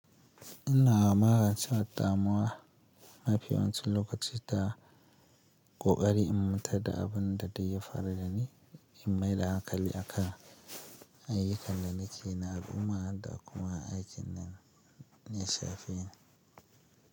Ina magance damuwa mafi yawancin lokaci da ƙoƙari in matar da abun da dai ya faru da ni in maida hankali akan. Ayyukan da nake na al'umma da kuma aikin nesa fiye.